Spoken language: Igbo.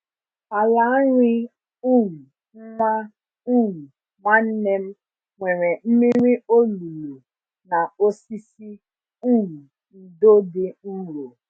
Ala nri um nwa um nwanne m nwere mmiri olulu na osisi um ndo dị nro.